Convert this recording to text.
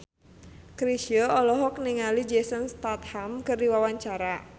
Chrisye olohok ningali Jason Statham keur diwawancara